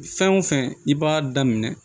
Fɛn o fɛn i b'a daminɛ